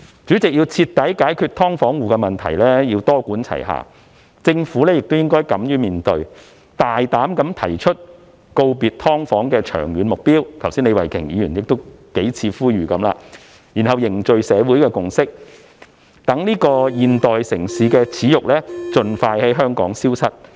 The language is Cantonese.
主席，要徹底解決"劏房戶"問題，需要多管齊下，政府亦應敢於面對，大膽提出告別"劏房"的長遠目標——李慧琼議員剛才亦已多次呼籲——然後凝聚社會共識，讓這個現代城市的耻辱盡快在香港消失。